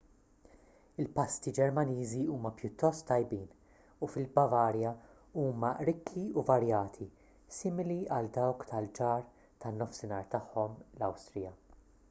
il-pasti ġermaniżi huma pjuttost tajbin u fil-bavarja huma rikki u varjati simili għal dawk tal-ġar tan-nofsinhar tagħhom l-awstrija